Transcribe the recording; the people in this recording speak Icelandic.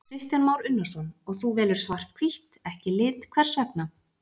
Kristján Már Unnarsson: Og þú velur svart-hvítt, ekki lit, hvers vegna?